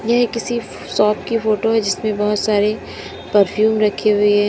यह किसी शॉप की फोटो है जिसमें बहुत सारे परफ्यूम रखे हुए हैं।